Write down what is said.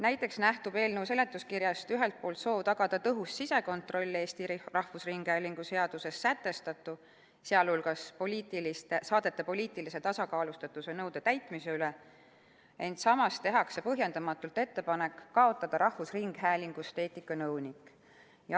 Näiteks nähtub eelnõu seletuskirjast ühelt poolt soov tagada tõhus sisekontroll Eesti Rahvusringhäälingu seaduses sätestatu, sealhulgas saadete poliitilise tasakaalustatuse nõude täitmise üle, samas tehakse põhjendamatult ettepanek kaotada rahvusringhäälingust eetikanõuniku koht.